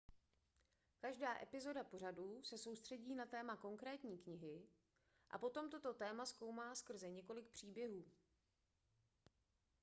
každá epizoda pořadu se soustředí na téma konkrétní knihy a potom toto téma zkoumá skrze několik příběhů